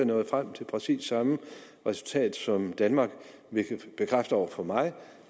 nået frem til præcis samme resultat som danmark det bekræfter over for mig